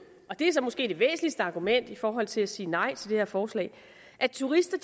og det er så måske det væsentligste argument i forhold til at sige nej til det her forslag at turister